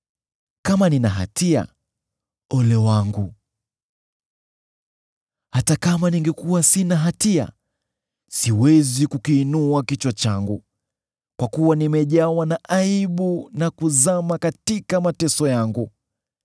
Kama nina hatia, ole wangu! Hata kama ningekuwa sina hatia, siwezi kukiinua kichwa changu, kwa kuwa nimejawa na aibu, na kuzama katika mateso yangu.